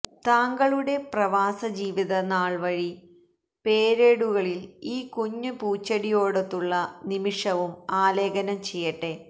താങ്കളുടെ പ്രവാസ ജീവിത നാള്വഴി പേരേടുകളില് ഈ കുഞ്ഞു പൂച്ചെടിയോടൊത്തുള്ള നിമിഷവും ആലേഖനം ചെയ്യട്ടെ